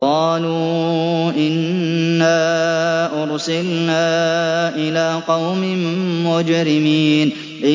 قَالُوا إِنَّا أُرْسِلْنَا إِلَىٰ قَوْمٍ مُّجْرِمِينَ